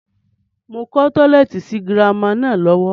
Mo ń kọ́ tọ́lẹ́ẹ́tì sì girama náà lọ́wọ́